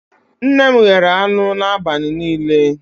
Nne m ghere anụ n'abalị niile